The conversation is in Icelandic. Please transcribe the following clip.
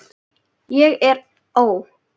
ég er ó.